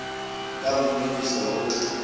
ka nngwe ho isa ho